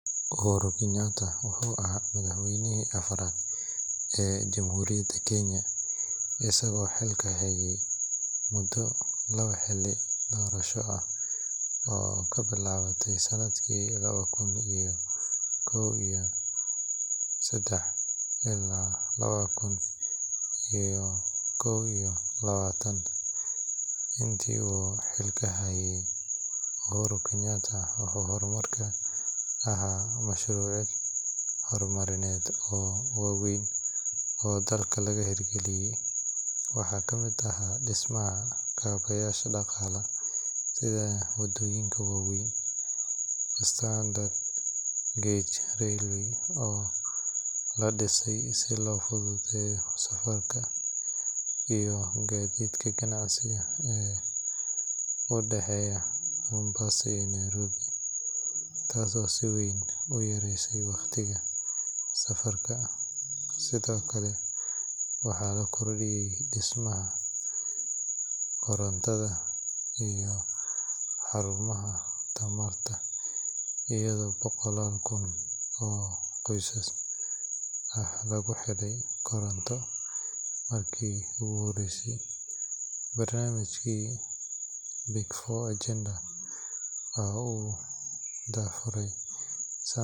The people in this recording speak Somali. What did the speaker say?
Uhuru Kenyatta wuxuu ahaa madaxweynihii afraad ee Jamhuuriyadda Kenya, isagoo xilka hayay muddo labo xilli doorasho ah oo ka bilaabatay sanadkii laba kun iyo sedex iyo toban ilaa laba kun iyo kow iyo labaatan. Intii uu xilka hayay, Uhuru Kenyatta wuxuu hormuud ka ahaa mashaariic horumarineed oo waaweyn oo dalka laga hirgeliyay. Waxaa kamid ahaa dhismaha kaabeyaasha dhaqaalaha sida waddooyinka waaweyn, Standard Gauge Railway oo la dhisay si loo fududeeyo safarka iyo gaadiidka ganacsiga ee u dhexeeya Mombasa iyo Nairobi, taasoo si weyn u yaraysay waqtiga safarka. Sidoo kale, waxaa la kordhiyay dhismaha korontada iyo xarumaha tamarta iyadoo boqolaal kun oo qoysas ah lagu xidhay koronto markii ugu horreysay. Barnaamijkii Big Four Agenda oo uu daahfuray.